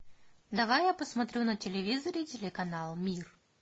давай я посмотрю на телевизоре телеканал мир